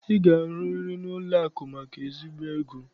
Ị ga-arụriri n'ụlọakụ maka ezigbo ego!